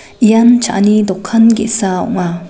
ian cha·ani dokan ge·sa ong·a.